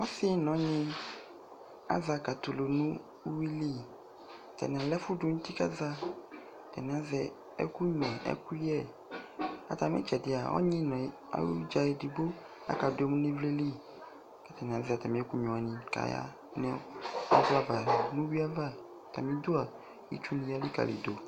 Ɔsɩ nʋ ɔnyɩ aza katɛ ʋlʋ nʋ uxuili atanɩ ala ɛfʋ dʋ nʋ iti kʋ aza atanɩ azɛ ɛkʋnyua nʋ ɛkʋyɛ atamɩ ɩtsɛdɩa ɔnyɩ nʋ ayʋ ɩdza edigbo aza kʋ aka dʋ emu nʋ ivlili kʋ atanɩ azɛ atamɩ ɛkʋnyua wanɩ kʋ aza nʋ ʋwui ava kʋ itsuni elikali madʋ